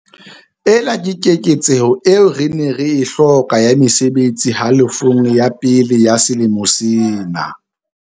Ena ke keketseho eo re neng re e hloka ya mesebetsi halofong ya pele ya selemo sena.